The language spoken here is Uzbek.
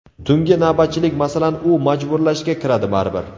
Tungi navbatchilik, masalan, u majburlashga kiradi baribir.